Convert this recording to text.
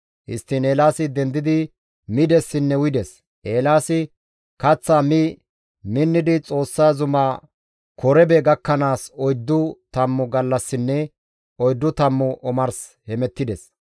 Histtiin Eelaasi dendidi midessinne uyides. Eelaasi kaththaa mi minnidi Xoossa zuma Korebe gakkanaas oyddu tammu gallassinne oyddu tammu omars hemettides.